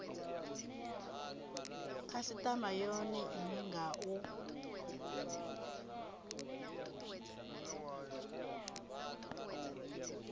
khasitama yone ine nga u